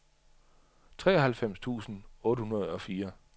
treoghalvfems tusind otte hundrede og fire